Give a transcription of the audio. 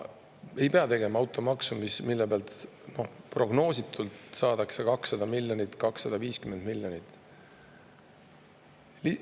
Ja ei pea tegema automaksu, mille pealt prognoositult saadakse 200–250 miljonit.